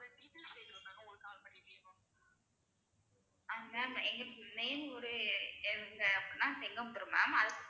ஆஹ் ma'am எங்களுக்கு main ஊரு என்ன அப்டின்னா செங்காபுரம் ma'am